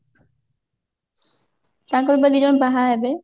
ତାଙ୍କର ବା ଦି ଜଣ ଏବେ ବାହା ହେବେ?